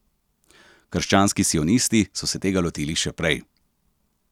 Krščanski sionisti so se tega lotili še prej.